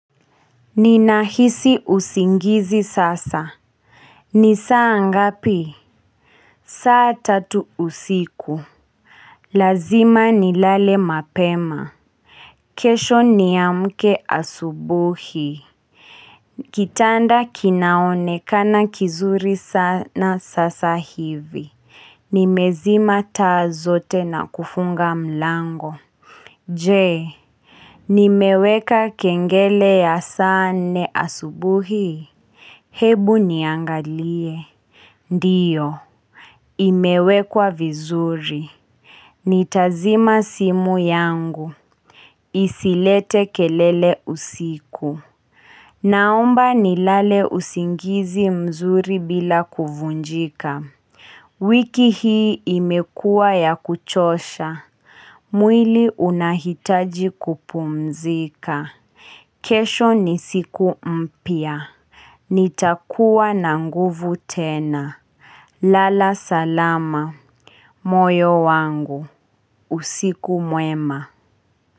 Ninahisi usingizi sasa ni saa ngapi? Saa tatu usiku Lazima nilale mapema kesho niamke asubuhi Kitanda kinaonekana kizuri sana sasa hivi Nimezima taa zote na kufunga mlango Je, Nimeweka kengele ya saa nne asubuhi? Hebu niangalie Ndiyo, imewekwa vizuri Nitazima simu yangu Isilete kelele usiku Naomba ni lale usingizi mzuri bila kuvunjika wiki hii imekuwa ya kuchosha mwili unahitaji kupumzika. Kesho ni siku mpya nitakuwa na nguvu tena Lala salama. Moyo wangu. Usiku mwema.